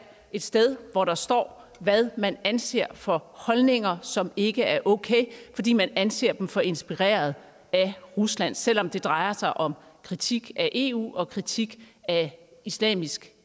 et sted hvor der står hvad man anser for holdninger som ikke er okay fordi man anser dem for inspireret af rusland selv om det drejer sig om kritik af eu og kritik af islamisk